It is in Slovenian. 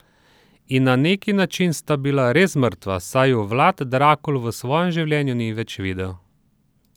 In na neki način sta bila res mrtva, saj ju Vlad Drakul v svojem življenju ni več videl.